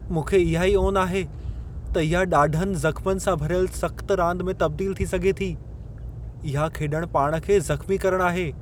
मूंखे इहा ई ओन आहे त इहा ॾाढनि ज़ख्मनि सां भरियल सख़्त रांद में तबदील थी सघे थी। इहा खेॾणु पाण खे ज़ख़्मी करणु आहे।